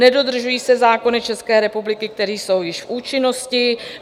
Nedodržují se zákony České republiky, které jsou již v účinnosti.